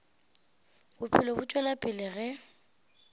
bophelo bo tšwela pele ge